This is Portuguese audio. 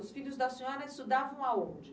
Os filhos da senhora estudavam a onde?